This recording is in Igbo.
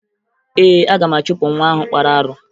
Ee, aga m achụpụ nwa ahụ kpara arụ